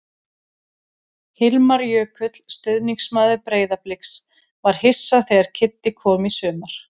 Hilmar Jökull, stuðningsmaður Breiðabliks: Var hissa þegar Kiddi kom í sumar.